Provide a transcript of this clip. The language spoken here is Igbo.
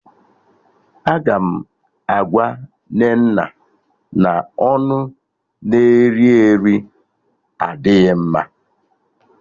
Aga m agwa Nnenna na ọnụ na-eri eri adịghị mma